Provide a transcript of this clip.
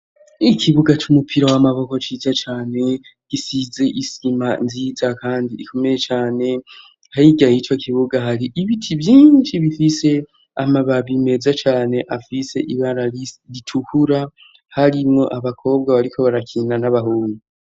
ikibuga c'umupira w'amaboko ciza cane, gisize isima nziza kandi ikomeye cane , hirya yico kibuga hari ibiti vyinshi bifise amababi meza cane afise ibara ritukura harimwo abakobwa bariko barakinda n'abahungu